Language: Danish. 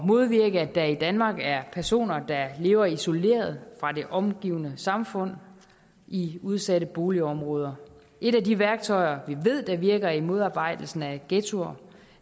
modvirke at der i danmark er personer der lever isoleret fra det omgivende samfund i udsatte boligområder et af de værktøjer vi ved der virker til at modarbejde ghettoer